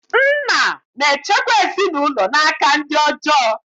Nna na-echekwa ezinaụlọ n'aka ndị ọjọọ.